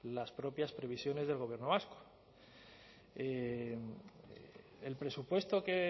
las propias previsiones del gobierno vasco el presupuesto que